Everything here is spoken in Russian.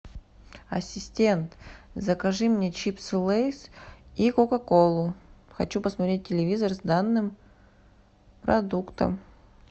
ассистент закажи мне чипсы лейс и кока колу хочу посмотреть телевизор с данным продуктом